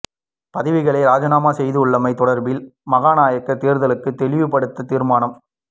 பதவிகளை இராஜினாமா செய்துள்ளமை தொடர்பில் மகாநாயக்க தேரர்களுக்கு தெளிவுபடுத்த தீர்மானம்